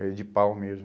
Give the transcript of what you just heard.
Era de pau mesmo.